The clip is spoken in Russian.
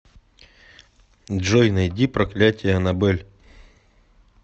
джой найди проклятье анабель